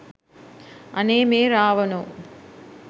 අනේ මේ රාවනෝ